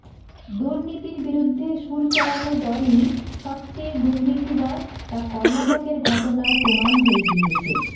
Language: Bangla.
দুর্নীতির বিরুদ্ধে সুর চড়ানো দলই সবচেয়ে দুর্নীতিবাজ তা কর্ণাটকের ঘটনায় প্রমাণ হয়ে গিয়েছে